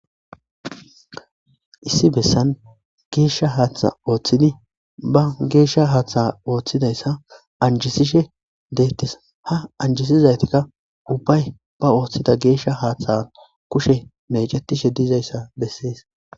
Issi bessan geeshsha haaththa ooththidi ba geeshsha haaththa ooththidayssa anjisishe deettis ha anjisizaytikka ubbay ba ooththida geeshsha haaththayan kushe mecetishe diizayssa bessees.